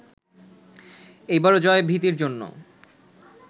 এইবারও ভয়-ভীতির জন্য